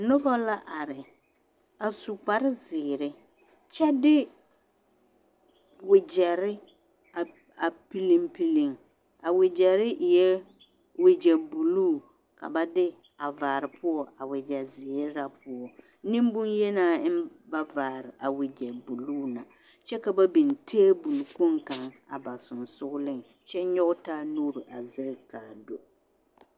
Nobɔ la are a su kpare zeere kyɛ de wogyɛre a a piliŋ piliŋ a wogyɛre eɛɛ wogyɛ bluu ka ba de a vaare poɔ a wogyɛ zeere na poɔ neŋbonyenaa eŋ ba vaare a wogyɛ bluu na kyɛ ka ba biŋ tabole kpoŋ kaŋ a ba sensugliŋ kyɛ nyoge taa nuure a zege kaa do.